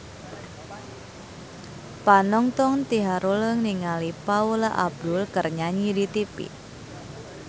Panonton ting haruleng ningali Paula Abdul keur nyanyi di tipi